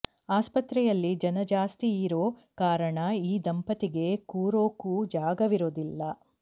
ಆಸ್ಪತ್ರೆಯಲ್ಲಿ ಜನ ಜಾಸ್ತಿಯಿರೋ ಕಾರಣ ಈ ದಂಪತಿಗೆ ಕೂರೋಕು ಜಾಗವಿರೋದಿಲ್ಲ